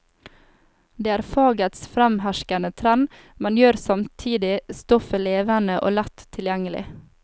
Det er fagets fremherskende trend, men gjør samtidig stoffet levende og lett tilgjengelig.